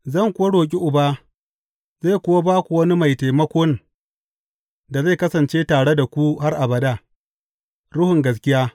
Zan kuwa roƙi Uba, zai kuwa ba ku wani Mai Taimakon da zai kasance tare da ku har abada, Ruhun gaskiya.